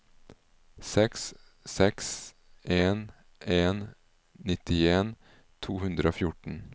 seks seks en en nittien to hundre og fjorten